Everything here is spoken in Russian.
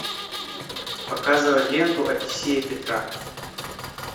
показывай ленту одиссея петра